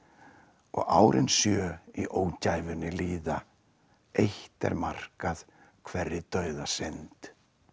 og árin sjö í ógæfunni líða eitt er markað hverri dauðasynd